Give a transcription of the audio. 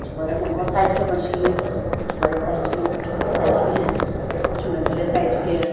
कुछ बड़े है बोहोत साइज के मछली है कुछ बड़े साइज के है कुछ छोटे साइज के है कुछ मझले साइज के है।